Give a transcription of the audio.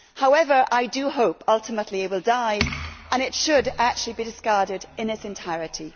However, I do hope ultimately it will die and it should actually be discarded in its entirety.